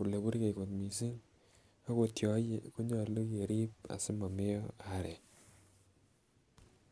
oleburgei kot missing okot yon ie konyolu kerib asimomeyo arek